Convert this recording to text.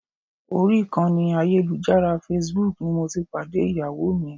Orí ìkànnì ayélujára Facebook ni mo ti pàdé Ìyàwó mi.